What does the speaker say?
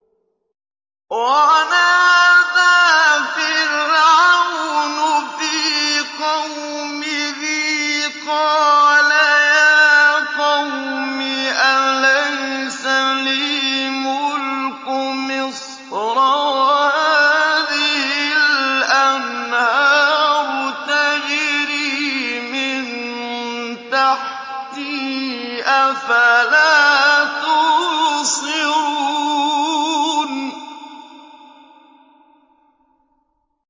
وَنَادَىٰ فِرْعَوْنُ فِي قَوْمِهِ قَالَ يَا قَوْمِ أَلَيْسَ لِي مُلْكُ مِصْرَ وَهَٰذِهِ الْأَنْهَارُ تَجْرِي مِن تَحْتِي ۖ أَفَلَا تُبْصِرُونَ